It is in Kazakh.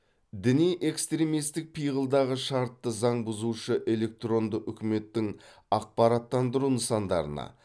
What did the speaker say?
діни экстремистік пиғылдағы шартты заң бұзушы электронды үкіметтің ақпараттандыру нысандарына